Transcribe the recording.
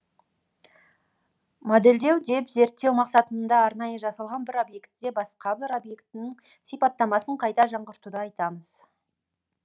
моделдеу деп зерттеу мақсатында арнайы жасалған бір объектіде басқа бір объектінің сипаттамасын қайта жаңғыртуды айтамыз